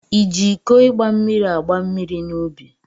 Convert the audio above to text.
Iji iko igba mmiri agba mmiri n'ubi?